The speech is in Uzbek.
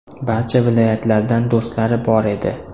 Barcha viloyatlardan do‘stlari bor edi.